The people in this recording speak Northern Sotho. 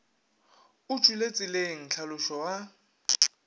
o tšwele tseleng tlhalošo ga